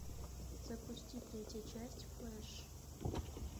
запусти третья часть флэш